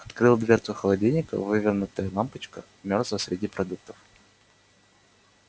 открыл дверцу холодильника вывернутая лампочка мёрзла среди продуктов